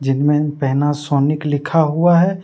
जिन में पैनासोनिक लिखा हुआ है।